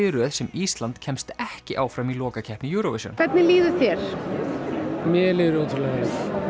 í röð sem Ísland kemst ekki áfram í lokakeppni Eurovision hvernig líður þér mér líður ótrúlega vel